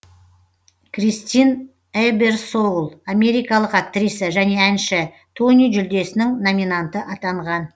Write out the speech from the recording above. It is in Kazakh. кристин эберсоул америкалық актриса және әнші тони жүлдесінің номинанты атанған